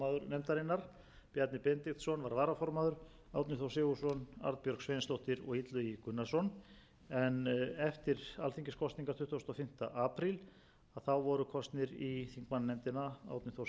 nefndarinnar bjarni benediktsson var varaformaður árni þór sigurðsson arnbjörg sveinsdóttir og illugi gunnarsson en eftir alþingiskosningar tuttugasta og fimmta apríl voru kosin í þingmannanefndina árni þór sigurðsson jónína rós guðmundsdóttir sigmundur davíð gunnlaugsson valgerður bjarnadóttir og